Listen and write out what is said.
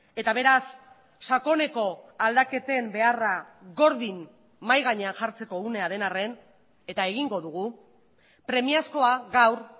eta beraz sakoneko aldaketen beharra gordin mahai gainean jartzeko unea den arren eta egingo dugu premiazkoa gaur